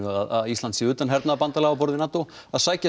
að Ísland sé utan hernaðarbandalaga á borð við NATO að sækja